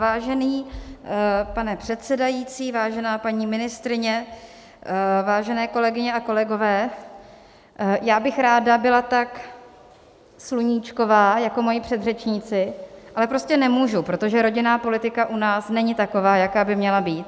Vážený pane předsedající, vážená paní ministryně, vážené kolegyně a kolegové, já bych ráda byla tak sluníčková jako moji předřečníci, ale prostě nemůžu, protože rodinná politika u nás není taková, jaká by měla být.